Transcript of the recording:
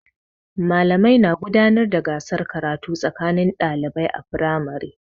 Malamai na gudanar da gasar karatu tsakanin ɗalibai a firamare.